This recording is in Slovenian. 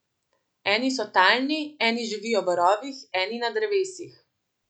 Eni so talni, eni živijo v rovih, eni na drevesih.